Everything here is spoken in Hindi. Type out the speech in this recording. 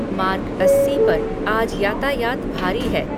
मार्ग अस्सी पर आज यातायात भारी है